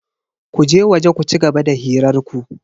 Ku je waje ku cigaba da hirar ku.